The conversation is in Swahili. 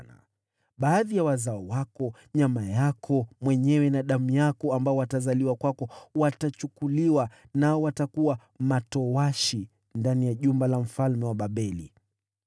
Nao baadhi ya wazao wako, nyama yako na damu yako mwenyewe watakaozaliwa kwako, watachukuliwa mbali, nao watakuwa matowashi katika jumba la mfalme wa Babeli.”